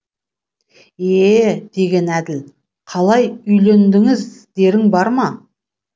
е е деген әділ қалай үйлендіңіз дерің бар ма